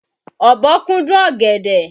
Ọ̀bọ kúndùn ọ̀gẹ̀dẹ̀.